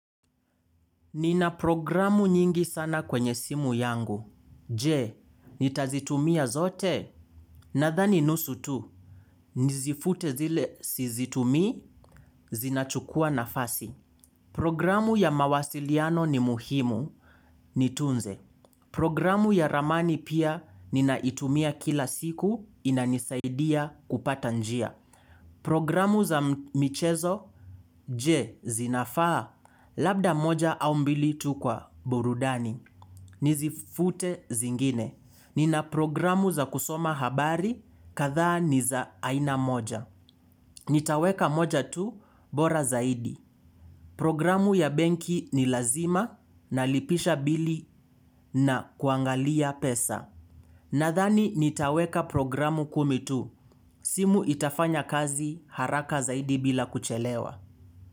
Nina programu nyingi sana kwenye simu yangu, je, nitazitumia zote, nadhani nusu tu. Nizifute zile sizitumii, zinachukua nafasi. Programu ya mawasiliano ni muhimu, nitunze. Programu ya ramani pia, ninaitumia kila siku, inanisaidia kupata njia. Programu za mchezo, je, zinafaa, labda moja au mbili tu kwa burudani. Nizifute zingine. Nina programu za kusoma habari katha niza aina moja. Nitaweka moja tu bora zaidi. Programu ya benki ni lazima nalipisha bili na kuangalia pesa. Nathani nitaweka programu kumi tu. Simu itafanya kazi haraka zaidi bila kuchelewa.